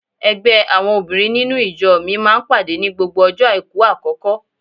Ẹgbẹ́ àwọn obìnrin nínú ìjọ mi máa ń pàdé ní gbogbo ọjọ́ àìkú àkọ́kọ́.